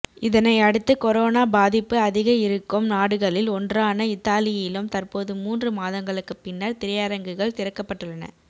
இதனையடுத்து கொரோனா பாதிப்பு அதிக இருக்கும் நாடுகளில் ஒன்றான இத்தாலியிலும் தற்போது மூன்று மாதங்களுக்குப் பின்னர் திரையரங்குகள் திறக்கப்பட்டுள்ளன